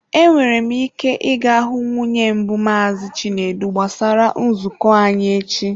Enwere m ike ị ga hụ nwunye mbụ Maazị Chinedu gbasara nzukọ anyị echi.